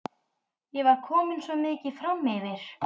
Ég var komin svo mikið framyfir.